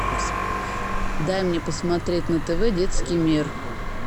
дай мне посмотреть на тв детский мир